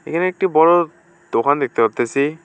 এখানে একটি বড়ো দোকান দেখতে পারতেসি।